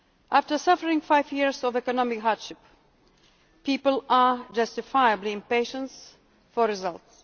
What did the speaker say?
After suffering five years of economic hardship, people are justifiably impatient for results.